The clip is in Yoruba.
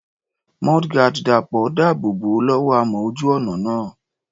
Mudguard Dàpọ̀ dáàbò bò ó lọ́wọ́ amọ̀ ojú ọ̀nà náà.